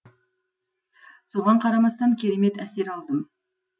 соған қарамастан керемет әсер алдым